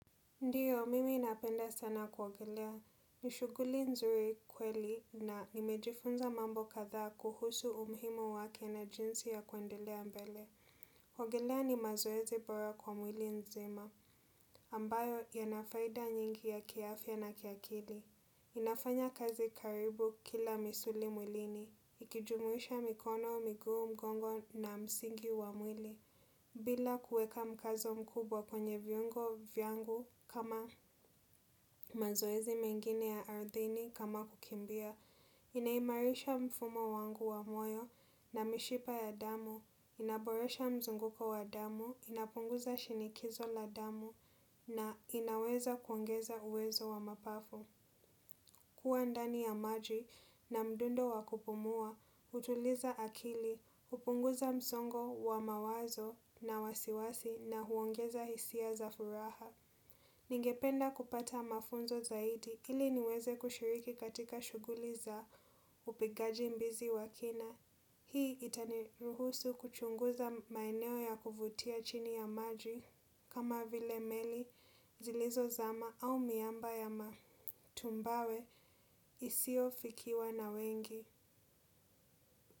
Ndiyo, mimi napenda sana kuogelea. Nishuguli nzuri kweli na nimejifunza mambo kadhaa kuhusu umuhimu wake na jinsi ya kuendelea mbele. Kuogolea ni mazoezi bora kwa mwili nzima, ambayo ya nafaida nyingi ya kiafya na kiakili. Inafanya kazi karibu kila misuli mwilini, ikijumuisha mikono, miguu mgongo na msingi wa mwili. Bila kueka mkazo mkubwa kwenye vyungo vyangu kama mazoezi mengine ya arthini kama kukimbia, inaimarisha mfumo wangu wa moyo na mishipa ya damu, inaboresha mzunguko wa damu, inapunguza shinikizo la damu na inaweza kuongeza uwezo wa mapafo. Kuwa ndani ya maji na mdundo wakupumua, utuliza akili, hupunguza msongo wa mawazo na wasiwasi na huongeza hisia za furaha. Ningependa kupata mafunzo zaidi ili niweze kushiriki katika shuguli za upigaji mbizi wa kina. Hii itani ruhusu kuchunguza maeneo ya kuvutia chini ya maji kama vile meli zilizo zama au miamba ya matumbawe isio fikiwa na wengi.